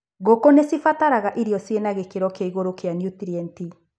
Ngũkũ nĩcibataraga irio cĩina gĩkĩro kĩa igũrũ kia nutrienti.